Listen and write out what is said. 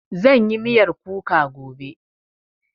Zan yi miyar kuka gobe